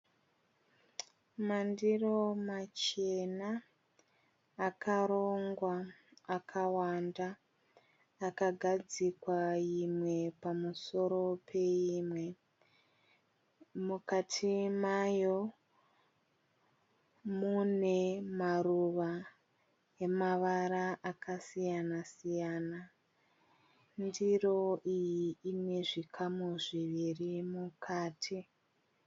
Mandiro machena akarongwa akawanda akagadzikwa imwe pamusoro peimwe. Mukati mayo munemaruva emavara akasiyana-siyana. Ndiro iyi inezvikamu zviviri mukati.